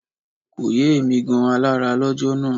Kò yé èmi gan alára lọ́jọ́ náà